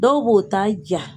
Dɔw b'o ta ja.